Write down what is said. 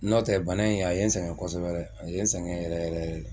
Nɔo tɛ bana in a ye sɛgɛn kosɛbɛ a ye n sɛgɛn yɛrɛ yɛrɛ.